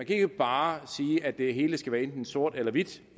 ikke bare sige at det hele skal være enten sort eller hvidt